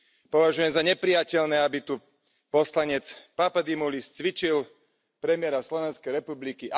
Považujem za neprijateľné, aby tu poslanec Papadimoulis cvičil premiéra Slovenskej republiky.